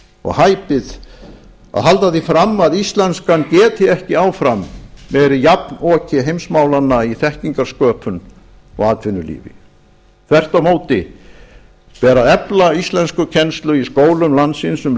og hæpið að halda því fram að íslenskan geti ekki áfram verið jafnoki heimsmálanna í þekkingarsköpun og atvinnulífi þvert á móti ber að efla íslenskukennslu í skólum landsins um